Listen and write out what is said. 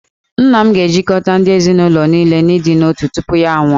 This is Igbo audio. Nna m ga-ejikọta ndị ezinụlọ niile n'ịdị n'otu tupu ya anwụọ